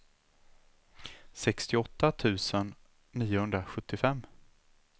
sextioåtta tusen niohundrasjuttiofem